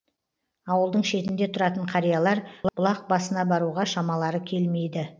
ауылдың шетінде тұратын қариялар бұлақ басына баруға шамалары келмейді